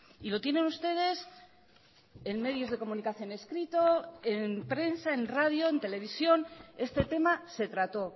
y lo tienen ustedes en medios de comunicación escrito en prensa en radio en televisión este tema se trató